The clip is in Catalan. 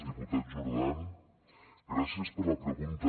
diputat jordan gràcies per la pregunta